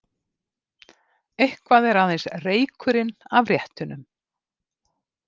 Eitthvað er aðeins reykurinn af réttunum